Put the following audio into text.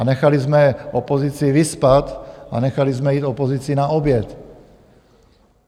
A nechali jsme opozici vyspat a nechali jsme jít opozici na oběd.